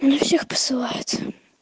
не всех посылает